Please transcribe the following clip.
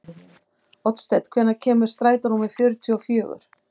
Oddsteinn, hvenær kemur strætó númer fjörutíu og fjögur?